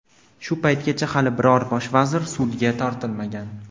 Shu paytgacha hali biror bosh vazir sudga tortilmagan.